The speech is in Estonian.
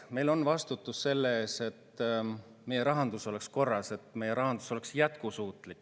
Meil on vastutus selle ees, et meie rahandus oleks korras ja et meie rahandus oleks jätkusuutlik.